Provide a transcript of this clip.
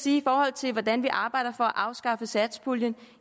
i forhold til hvordan vi arbejder for at afskaffe satspuljen